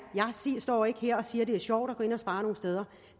jeg står ikke her og siger at det er sjovt at gå ind og spare nogle steder